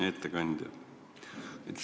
Hea ettekandja!